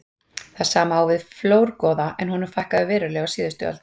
Það sama á við um flórgoða en honum fækkaði verulega á síðustu öld.